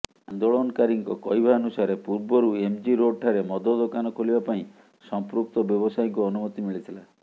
ଆନ୍ଦୋଳନକାରୀଙ୍କ କହିବାନୁସାରେ ପୂବର୍ରୁ ଏମ୍ଜି ରୋଡଠାରେ ମଦ ଦୋକାନ ଖୋଲିବା ପାଇଁ ସମ୍ପୃକ୍ତ ବ୍ୟବସାୟୀଙ୍କୁ ଅନୁମତି ମିଳିଥିଲା